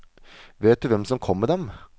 Vet du hvem som kom med dem?